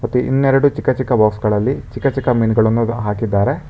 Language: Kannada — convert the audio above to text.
ಇನ್ನೆರಡು ಚಿಕ್ಕ ಚಿಕ್ಕ ಬಾಕ್ಸ್ ಗಳಲ್ಲಿ ಚಿಕ್ಕ ಚಿಕ್ಕ ಮೀನುಗಳನ್ನು ಹಾಕಿದ್ದಾರೆ.